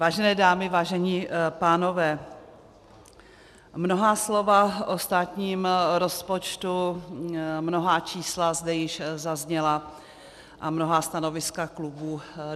Vážené dámy, vážení pánové, mnohá slova o státním rozpočtu, mnohá čísla zde již zazněla a mnohá stanoviska klubů.